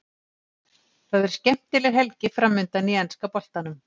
Það er skemmtileg helgi framundan í enska boltanum.